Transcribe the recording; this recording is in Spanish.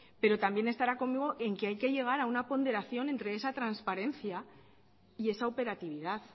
pero también estará conmigo en que hay que llegar a una ponderación entre esa transparencia y esa operatividad